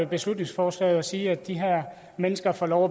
beslutningsforslaget og sige at de her mennesker får lov